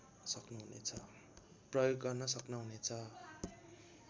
प्रयोग गर्न सक्नुहुनेछ